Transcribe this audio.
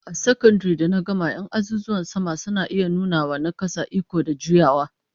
A sakandaren da na gama 'yan azuzuwan sama suna iya nuna wa na kasa iko da juyawa